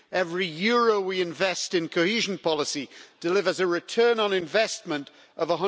Every euro we invest in cohesion policy delivers a return on investment of